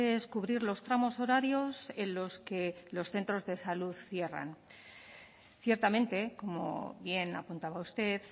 es cubrir los tramos horarios en los que los centros de salud cierran ciertamente como bien apuntaba usted